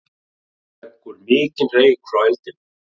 Leggur mikinn reyk frá eldinum